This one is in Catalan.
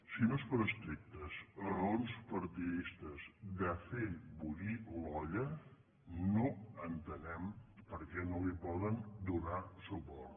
si no és per estrictes raons partidistes de fer bullir l’olla no entenem per què no hi poden donar suport